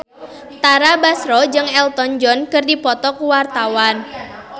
Tara Basro jeung Elton John keur dipoto ku wartawan